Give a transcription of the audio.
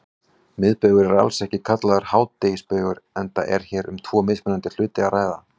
Miðbaugur er alls ekki kallaður hádegisbaugur enda er hér um tvo mismunandi hluti að ræða.